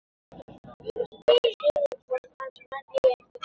Við spurðum Sigurð hvort hans menn eigi einhvern séns?